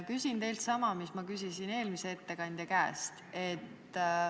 Küsin teilt sama, mis ma küsisin eelmise ettekandja käest.